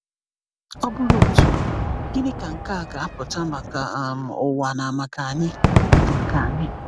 Ọ bụrụ otu a, gịnị ka nke a ga-apụta maka um ụwa na maka anyị? maka anyị?